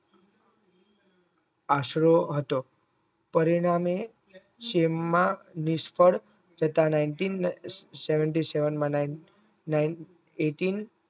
આશરો હતો પરિણામે સેમમાં નિષ્ફળ થતા Nineteen Seventeen Seven Eight